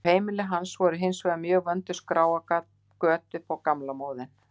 Á heimili hans voru hins vegar mjög vönduð skráargöt upp á gamla móðinn.